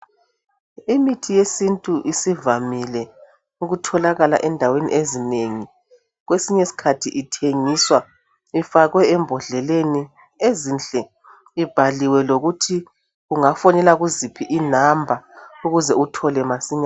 Imithi yesintu isivamile ukutholakala endaweni ezinengi. Kwesinye iskhathi ithengiswa ifakwe embodleleni ezinhle ibhaliwe lokuthi ungafonela kuziphi inamba ukuze uthole masinya.